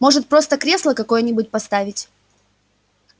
может просто кресло какое-нибудь поставить